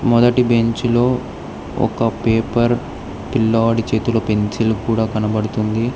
మొదటి బెంచ్ లో ఒక పేపర్ పిల్లోడి చేతులు పెన్సిల్ కూడా కనబడుతుంది.